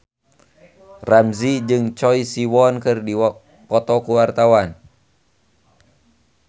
Ramzy jeung Choi Siwon keur dipoto ku wartawan